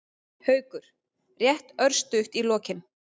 Haukur: Rétt örstutt í lokin.